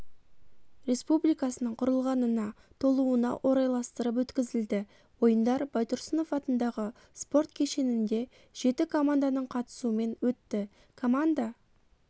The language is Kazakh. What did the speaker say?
республикасының құрылғанына толуына орайластырып өткізілді ойындар байтұрсынов атындағы спорт кешенінде жеті команданың қатысуымен өтті команда